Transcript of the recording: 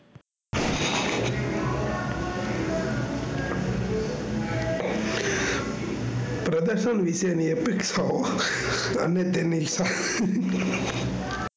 પ્રદૃશન વિશે ની